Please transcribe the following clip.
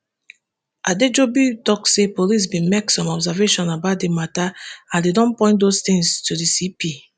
adejobi tok say police bin make some observations about di matter and dem don point those tins to di cp